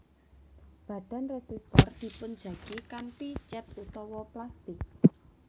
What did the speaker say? Badan résistor dipunjagi kanthi cèt utawi plastik